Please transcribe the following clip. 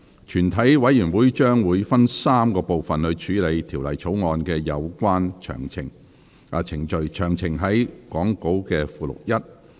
全體委員會將會分3個環節處理《條例草案》的有關程序，詳情載於講稿附錄1。